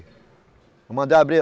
Eu mandei abrir.